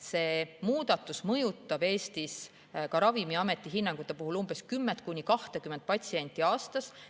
See muudatus mõjutab Eestis Ravimiameti hinnangul 10–20 patsienti aastas.